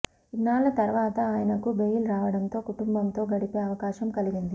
ఇన్నాళ్ల తర్వాత ఆయనకు బెయిల్ రావడంతో కుటుంబంతో గడిపే అవకాశం కలిగింది